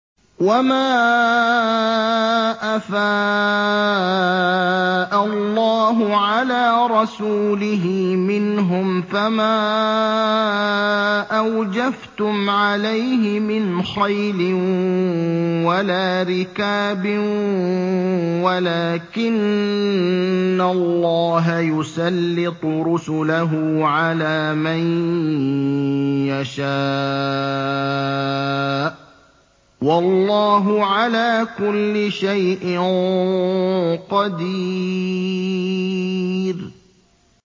وَمَا أَفَاءَ اللَّهُ عَلَىٰ رَسُولِهِ مِنْهُمْ فَمَا أَوْجَفْتُمْ عَلَيْهِ مِنْ خَيْلٍ وَلَا رِكَابٍ وَلَٰكِنَّ اللَّهَ يُسَلِّطُ رُسُلَهُ عَلَىٰ مَن يَشَاءُ ۚ وَاللَّهُ عَلَىٰ كُلِّ شَيْءٍ قَدِيرٌ